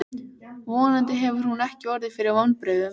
Vonandi hefur hún ekki orðið fyrir vonbrigðum.